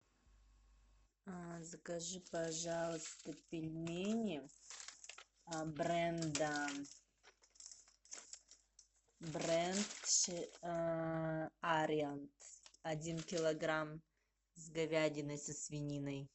закажи пожалуйста пельмени бренда бренд ариант один килограмм с говядиной со свининой